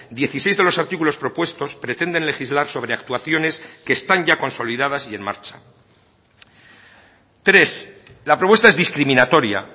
dieciséis de los artículos propuestos pretenden legislar sobre actuaciones que están ya consolidadas y en marcha tres la propuesta es discriminatoria